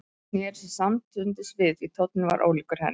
Hann sneri sér samstundis við því tónninn var ólíkur henni.